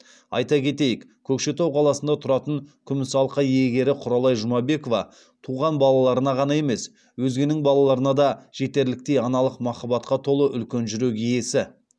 айта кетейік көкшетау қаласында тұратын күміс алқа иегері құралай жұмабекова туған балаларына ғана емес өзгенің балаларына да жетерліктей аналық махаббатқа толы үлкен жүрек иесі